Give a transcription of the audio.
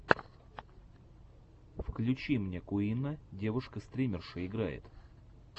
включи мне куинна девушка стримерша играет